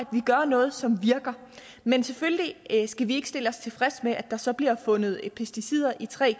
gør noget som virker men selvfølgelig skal vi ikke stille os tilfredse med at der så bliver fundet pesticider i tre